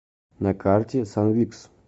на карте санвикс